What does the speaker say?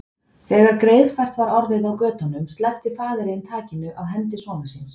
Þegar greiðfært var orðið á götunum sleppti faðirinn takinu á hendi sonar síns.